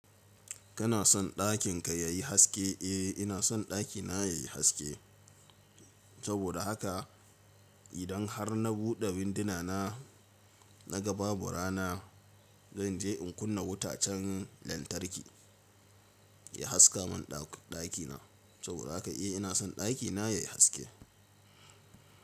Kana son ɗakin ka yayi haske? Eh ina son ɗakina yayi haske. Saboda haka idan har na buɗe tagogi na na gan babu rana, zanje in kunna wutan lantarki ya haska mun ɗakina. Saboda haka eh ina son ɗakina yayi haske.